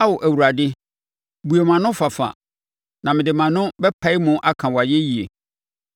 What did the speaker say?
Ao Awurade, bue mʼano fafa, na mede mʼano bɛpae mu aka wʼayɛyie.